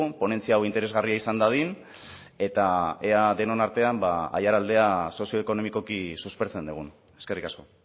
ponentzia hau interesgarria izan dadin eta ea denon artean aiaraldea sozioekonomikoki suspertzen dugun eskerrik asko